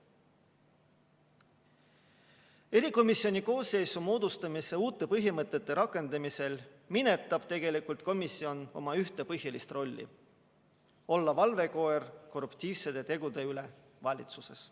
Erikomisjoni koosseisu moodustamise uute põhimõtete rakendamisel minetab komisjon tegelikult ühe oma põhilise rolli: olla valvekoer korruptiivsete tegude üle valitsuses.